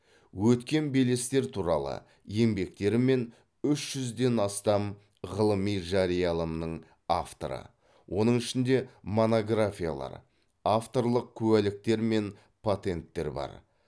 өткен белестер туралы еңбектері мен үш жүзден астам ғылыми жарияланымның авторы оның ішінде монографиялар авторлық куәліктер мен патенттер бар